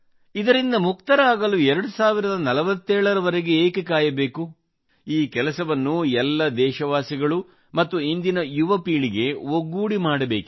ಇದರಿಂದ ಮುಕ್ತರಾಗಲು 2047 ರ ವರೆಗೆ ಏಕೆ ಕಾಯಬೇಕು ಈ ಕೆಲಸವನ್ನು ಎಲ್ಲ ದೇಶವಾಸಿಗಳು ಮತ್ತು ಇಂದಿನ ಯುವಪೀಳಿಗೆ ಒಗ್ಗೂಡಿ ಮಾಡಬೇಕಿದೆ